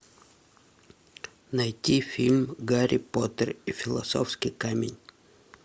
найти фильм гарри поттер и философский камень